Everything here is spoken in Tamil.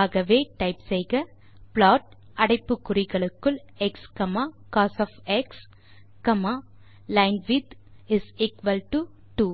ஆகவே டைப் செய்க ப்ளாட் அடைப்பு குறிகளுக்குள் xcosலைன்விட்த் இஸ் எக்குவல் டோ 2